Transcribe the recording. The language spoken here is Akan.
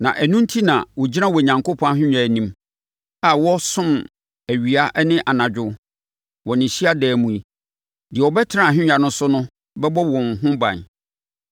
Na ɛno enti na, “wɔgyina Onyankopɔn ahennwa anim a wɔresom awia ne anadwo wɔ ne hyiadan mu yi. Deɛ ɔbɛtena ahennwa no so no bɛbɔ wɔn ho ban.